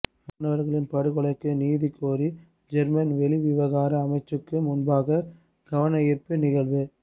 மாணவர்களின் படுகொலைக்கு நீதி கோரி ஜேர்மன் வெளிவிவகார அமைச்சுக்கு முன்பாக கவனயீர்ப்பு நிகழ்வு